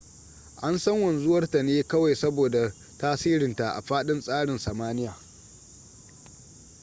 an san wanzuwar ta ne kawai saboda tasirinta a fadin sararin samaniya